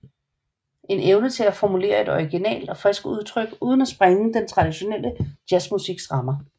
En evne til at formulere et originalt og friskt udtryk uden at sprænge den traditionelle jazzmusiks rammer